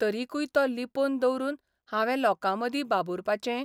तरिकूय तो लिपोवन दवरून हांवें लोकां मदीं बाबुरपाचें?